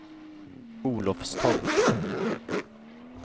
Olofstorp